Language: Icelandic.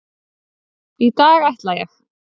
Í dag ætla ég.